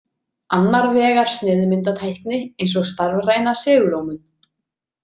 Annar vegar sneiðmyndatækni eins og starfræna segulómun.